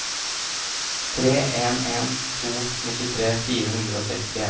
tre en en to nittitre fire hundre og sekstien